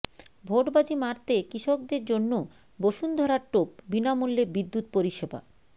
ভোটবাজী মারতে কৃষকদের জন্য বসুন্ধরার টোপ বিনামূল্যে বিদ্যুৎ পরিষেবা